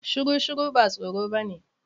Shuru shuru ba tsoro bane.